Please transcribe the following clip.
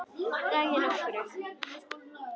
Ræð ég nokkru?